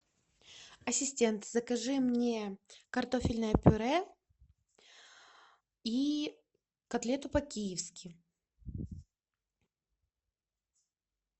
ассистент закажи мне картофельное пюре и котлету по киевски